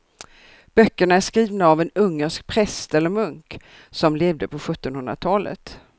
Böckerna är skrivna av en ungersk präst eller munk som levde på sjuttonhundratalet.